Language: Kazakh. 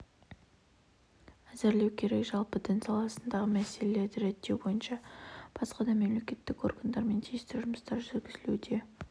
әзірлеу керек жалпы дін саласындағы мәселелерді реттеу бойынша басқа да мемлекеттік органдармен тиісті жұмыстар жүргізілуде